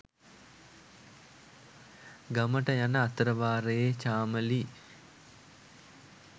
ගමට යන අතරවාරයේ චාමලී